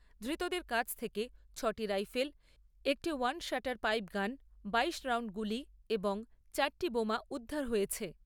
ধৃতদের কাছ থেকে ছয়টি রাইফেল, একটি ওয়ান শটার পাইপগান, বাইশ রাউণ্ড গুলি এবং চারটি বোমা উদ্ধার হয়েছে।